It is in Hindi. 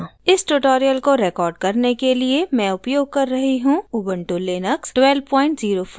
इस tutorial को record करने के लिए मैं उपयोग कर रही हूँ ubuntu लिनक्स 1204 os